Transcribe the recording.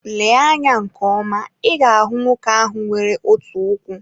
Lee anya nke ọma, ị ga-ahụ nwoke ahụ nwere otu ụkwụ.